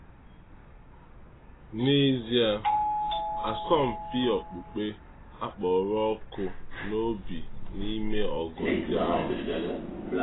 N’ezie, asọmpi okpukpe akpọrọ ọkụ n’obi n’ime ọgụ ndị ahụ.